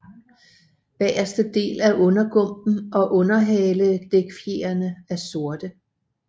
Bageste del af undergumpen og underhaledækfjerene er sorte